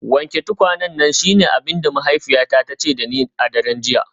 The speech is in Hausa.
Wanke tukwanen nan shine abin da mahaifiyata ta ce da ni a daren jiya.